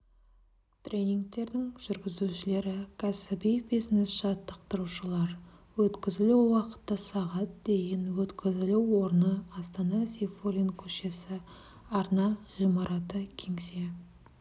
тренингтердің жүргізушілері кәсіби бизнес-жаттықтырушылар өткізілу уақыты сағат дейін өткізілу орны астана сейфуллин көшесі арна ғимараты кеңсе